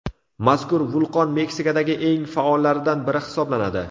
Mazkur vulqon Meksikadagi eng faollaridan biri hisoblanadi.